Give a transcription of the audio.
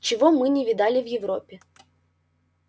чего мы не видали в европе